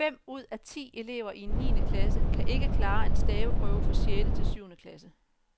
Fem ud af ti elever i en niende klasse kan ikke klare en staveprøve for sjette til syvende klasse.